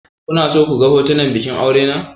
Kuna so ku ga hotunan bikin aure?